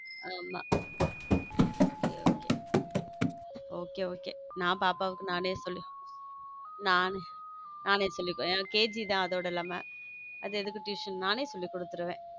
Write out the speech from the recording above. ஆமா சரி okay okay okay நான் பாப்பாவுக்கு நானே சொல்லிக் கொடுத்துடுவேன் கேஜி தான் அதோட இல்லாம அது எதுக்கு tuition நானும் சொல்லி கொடுத்துடுவேன்.